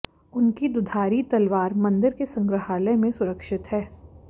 उनकी दुधारी तलवार मंदिर के संग्रहालय में सुरक्षित है